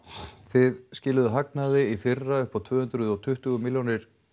þið hagnaði í fyrra upp á tvö hundruð og tuttugu milljónir